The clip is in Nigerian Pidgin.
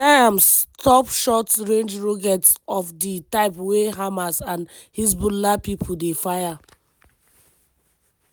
dem design am stop short-range rockets of di type wey hamas and hezbollah pipo dey fire.